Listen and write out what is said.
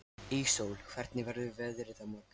Íssól, hvernig verður veðrið á morgun?